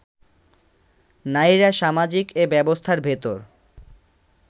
নারীরা সামাজিক এ ব্যবস্থার ভেতর